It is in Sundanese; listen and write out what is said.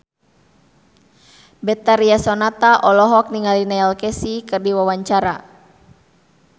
Betharia Sonata olohok ningali Neil Casey keur diwawancara